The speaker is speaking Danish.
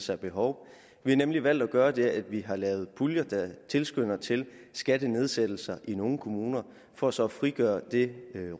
sig et behov vi har nemlig valgt at gøre det at vi har lavet puljer der tilskynder til skattenedsættelser i nogle kommuner for så at frigøre et